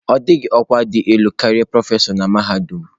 Ọ dịghị ọkwa dị elu karịa prọfesọ na mahadum.